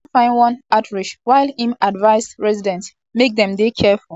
e tok say dem don find one ostrich while im advise residents make dem dey careful.